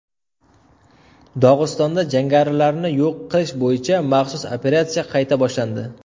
Dog‘istonda jangarilarni yo‘q qilish bo‘yicha maxsus operatsiya qayta boshlandi.